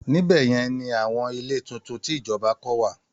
Níbẹ̀ yẹn ni àwọn ilé tuntun tí ìjọba kọ́ wà